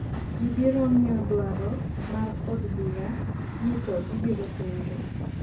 ji biro ng'iyo dwaro mar od bura ni to gibiro penjo